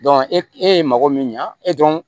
e ye mago min ɲa e dɔn